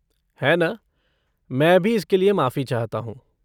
है ना! मैं भी इसके लिए माफ़ी चाहता हूँ।